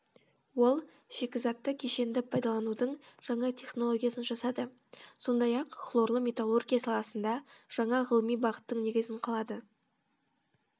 ол шикізатты кешенді пайдаланудың жаңа технологиясын жасады сондай ақ хлорлы металлургия саласында жаңа ғылыми бағыттың негізін қалады